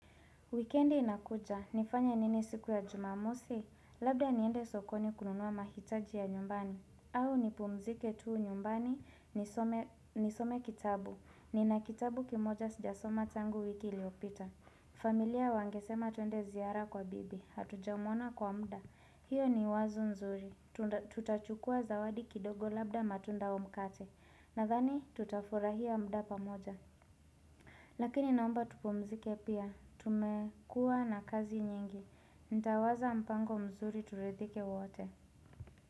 Wikendi inakuja, nifanya nini siku ya jumamosi, labda niende sokoni kununua mahitaji ya nyumbani, au nipumzike tuu nyumbani, nisome kitabu, nina kitabu kimoja sijasoma tangu wiki iliopita familia wangesema tuende ziara kwa bibi hatuja umona kwa muda hiyo ni wazu nzuri tutachukua zawadi kidogo labda matunda au mkate nadhani tutafurahia muda pamoja Lakini naomba tupumzike pia tumekua na kazi nyingi ntawaza mpango mzuri turidhike wote.